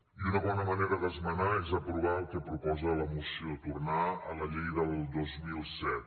i una bona manera d’esmenar és aprovar el que proposa la moció tornar a la llei del dos mil set